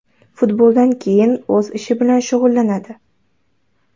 Futboldan keyin o‘z ishi bilan shug‘ullanadi.